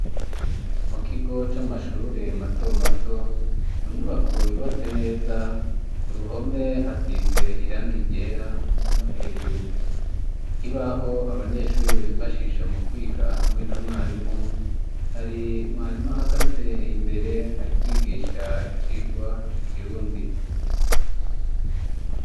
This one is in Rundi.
Mu kigo c'amashure matomato, mu nyubako yubatse neza, ku ruhome hasize irangi ryera hamwe no hejuru, ikibaho abanyeshure bifashisha mu kwiga hamwe na mwarimu , hari mwarimu ahagaze imbere ari kwigisha icigwa cikirundi.